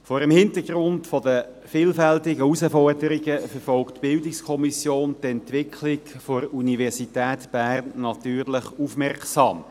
Vor dem Hin tergrund der vielfältigen Herausforderungen verfolgt die BiK die Entwicklung der Universität Bern natürlich aufmerksam.